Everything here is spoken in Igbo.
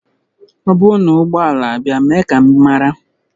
Ọ bụrụ na ụgbọ ala abịa mee ka m mara